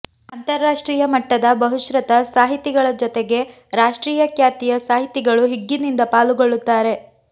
ಅಂತರರಾಷ್ಟ್ರೀಯ ಮಟ್ಟದ ಬಹುಶ್ರುತ ಸಾಹಿತಿಗಳ ಜೊತೆಗೆ ರಾಷ್ಟ್ರೀಯ ಖ್ಯಾತಿಯ ಸಾಹಿತಿಗಳು ಹಿಗ್ಗಿನಿಂದ ಪಾಲುಗೊಳ್ಳುತ್ತಾರೆ